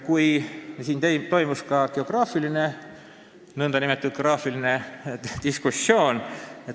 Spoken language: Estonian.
Komisjonis toimus ka nn geograafiline diskussioon.